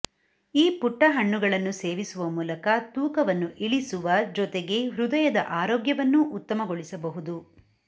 ಈ ಪುಟ್ಟ ಹಣ್ಣುಗಳನ್ನು ಸೇವಿಸುವ ಮೂಲಕ ತೂಕವನ್ನು ಇಳಿಸುವ ಜೊತೆಗೇ ಹೃದಯದ ಆರೋಗ್ಯವನ್ನೂ ಉತ್ತಮಗೊಳಿಸಬಹುದು